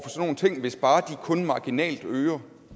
nogle ting hvis bare de kun marginalt øger